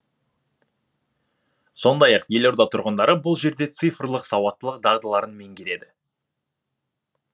сондай ақ елорда тұрғындары бұл жерде цифрлық сауаттылық дағдыларын меңгереді